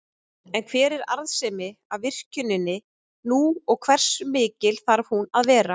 En hver er arðsemin af virkjuninni nú og hversu mikil þarf hún að vera?